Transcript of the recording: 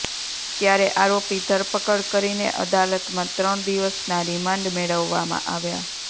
ત્યારે આરોપી ધરપકડ કરીને અદાલતમાં ત્રણ દિવસના રિમાન્ડ મેળવવામાં આવ્યાં